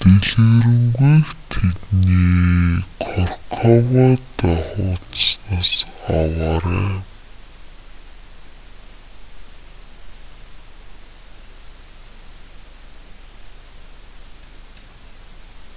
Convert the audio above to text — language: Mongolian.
дэлгэрэнгүйг тэдний корковадо хуудаснаас аваарай